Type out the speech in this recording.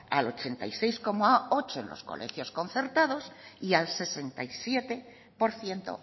al ochenta y seis coma ocho por ciento en los colegios concertados y al sesenta y siete por ciento